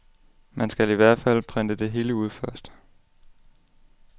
Man skal i hvert fald printe det hele ud først.